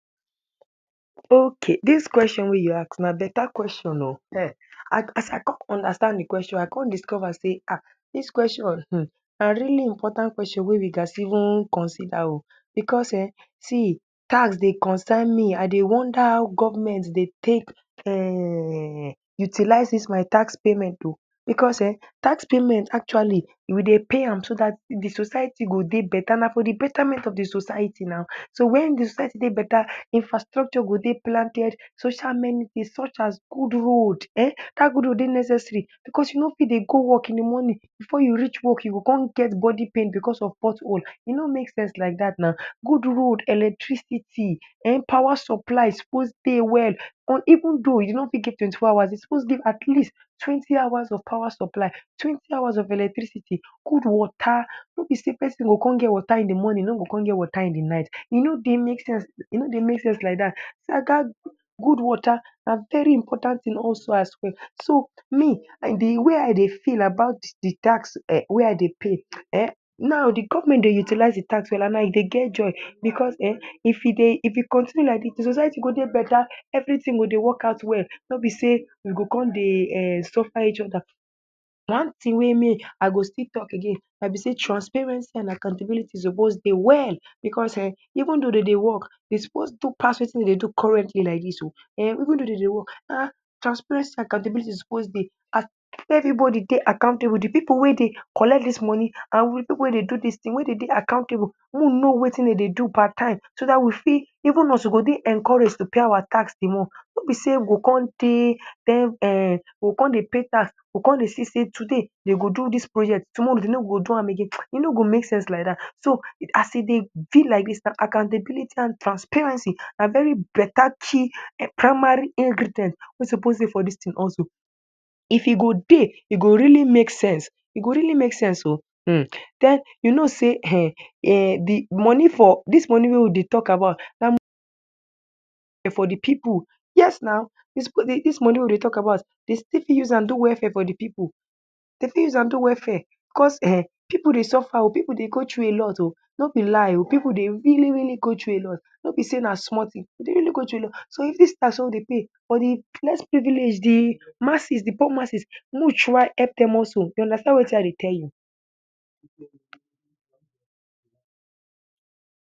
Oook dis question wey you ask na beta question oh um a um as I com understand di question I com discover sey ha dis question um na rily important wey we gas even consider oh because um see tax dey concern me I dey wonder how government dey take um utilizes dis my tax payment oh Because um tax payment actually we dey pay am dat di society go dey beta na for di betament of di society na so wen di society dey beta infrastructure go dey planted social amenity such as gud road en dat gud road de necessary because you no fit dey go work in di moni before you reach work you go com get bodi pain because of pot hole e no make sense like dat na Gud road, electricity, um pawa supply suppose dey well, even though we no fit get twenty four hours we suppose at least twenti hours of pawa supply, twenty hours of electricity, gud wata no be sey pesin go com get wata in di morni e no go com get wata in di night, e no dey make sense e no dey make sense like dat See aga um gud wata na very important tin also as well so me I dey di way I dey feel about di tax wey I dey pay um now di government dey utilize di tax well and na una dey get joy because en if e dey if e continue like dis society go dey beta every tin go dey work out well No be sey we go com dey um sufa each oda, one tin wey me I go still talk again na be sey transparency and akantablity suppose dey well Because um even though dey de work, de suppose do pass wetin dey de do currently like dis oh um even though dey de work haha transparency and akantability suppose dey ha make every bodi dey akantabu di pipu wey dey collect dis moni and wit pipu wey dey do dis tin mey dey de mo no wetin dey de do per time so dat we fit even us we go dey encourage to pay our tax di more No be sey w go com dey um we go come dey pay tax we go com dey see sey today dey go do dis project tomoro dey no go do am again e no go make sense like dat so as e dey be like dis, akantability and transparency na very beta key primary ingredient wey suppose dey for dis tin also If e go dey e go rily make sense, e go really make sense oh hmm um you no sey um moni for dis moni wey we dey talk about na moni for di pipu yes na Dey supos um dis moni wey we dey talk about dey stil fit use am do welfare for di pipu, dey fit u welfare, because um pipu dey suffer oh pipu dey go tru a lot oh, no be lie oh pipu dey rily rily go tru a lot No be sey na small tin dey rily go tru a lot so if dis tax wey for di less privilege di masses, di poor masses mo try hep dem also you understand wetin I dey tell you